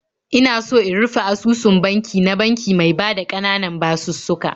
Ina so in rufe asusun banki na banki mai bada ƙananan basussuka.